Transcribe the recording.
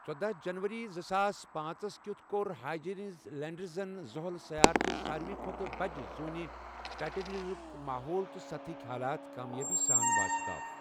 ژۄداہ جنؤری، زٕساس پانژھ ہس کیُتھ کوٚر ہایجیٚنز لیٛنڈرن زحل سیار چہِ سارِوٕے کھۄتہٕ بجہِ زوٗنہِ، ٹایٹینِکُک ماحول تہٕ سطح ہٕکۍ حالات کامیٲبی سان واشگاف۔